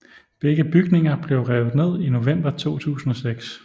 Begge bygninger blev revet ned i november 2006